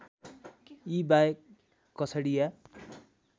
यी बाहेक कछडिया